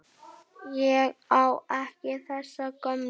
Ég á ekki þessa gömlu.